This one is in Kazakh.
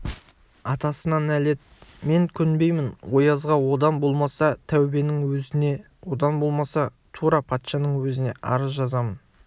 атасына нәлет мен көнбеймін оязға одан болмаса тәубенің өзіне одан болмаса тура патшаның өзіне арыз жазамын